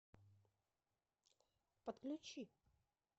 подключи